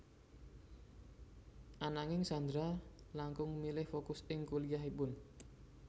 Ananging Sandra langkung milih fokus ing kuliahipun